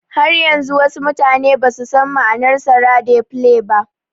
Har yanzu wasu mutane basu san ma'anar sara "Dey play" ba